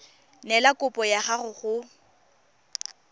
neela kopo ya gago go